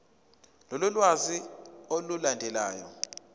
lolu lwazi olulandelayo